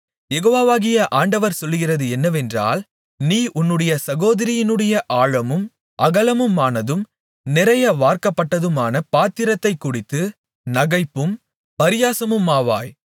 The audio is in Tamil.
யெகோவாகிய ஆண்டவர் சொல்லுகிறது என்னவென்றால் நீ உன்னுடைய சகோதரியினுடைய ஆழமும் அகலமுமானதும் நிறைய வார்க்கப்பட்டதுமான பாத்திரத்தைக் குடித்து நகைப்பும் பரியாசமுமாவாய்